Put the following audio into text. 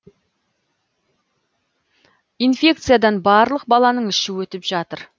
инфекциядан барлық баланың іші өтіп жатыр